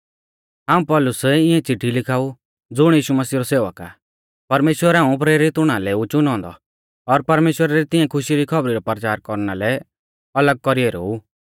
हाऊं पौलुस इऐं चिट्ठी लिखाऊ ज़ुण यीशु मसीह रौ सेवक आ परमेश्‍वरै हाऊं प्रेरित हुणा लै ऊ च़ुनौ औन्दौ और परमेश्‍वरा री तिऐं खुशी री खौबरी रौ परचार कौरना लै अलग कौरी ऐरौ ऊ